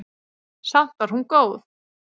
Samt var hún góð.